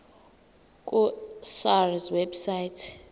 ku sars website